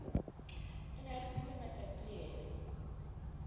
o ne a tlohile matatilele